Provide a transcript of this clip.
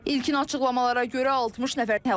İlkin açıqlamalara görə 60 nəfər həlak olub.